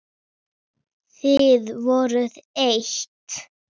Þið voruð eitt.